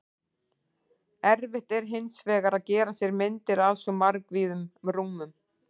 Erfitt er hins vegar að gera sér myndir af svo margvíðum rúmum.